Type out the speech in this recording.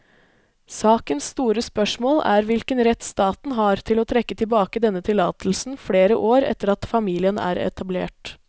Sakens store spørsmål er hvilken rett staten har til å trekke tilbake denne tillatelsen flere år etter at familien er etablert.